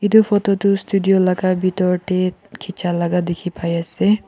etu photo tu studio laga pitor te khichia laga dikhi pai ase.